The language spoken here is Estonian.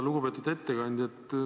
Lugupeetud ettekandja!